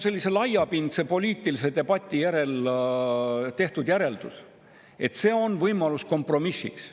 Sellise laiapindse poliitilise debati järel tehti järeldus, et see on võimalus kompromissiks.